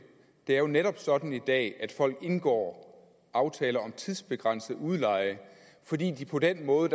det er jo netop sådan i dag at folk indgår aftaler om tidsbegrænset udleje fordi de på den måde